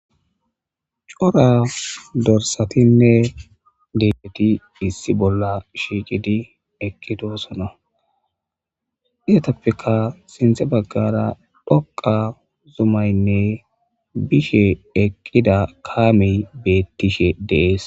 Cora dorsatinne degqeti issi bolla shiiqidi eqqitosona iyatappeka sinthe baggara dhoqa zumaynne bishe eqqida kaamey beettishe dees.